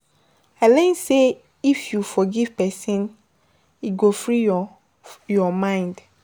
I learn sey if you forgive pesin, e go free your your mind